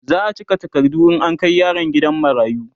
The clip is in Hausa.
za'a cika takardu in an Kai yaron gidan marayu